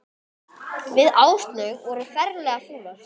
Við Áslaug vorum ferlega fúlar.